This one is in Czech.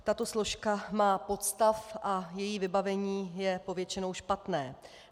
Tato složka má podstav a její vybavení je povětšinou špatné.